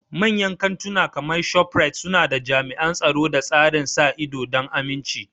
Manyan kantuna kamar ShopRite suna da jami'an tsaro da tsarin sa ido don aminci.